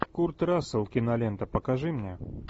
курт рассел кинолента покажи мне